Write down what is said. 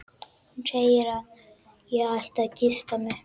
Hún segir að ég ætti að gifta mig.